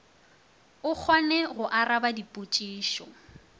o kgone go araba dipotšišo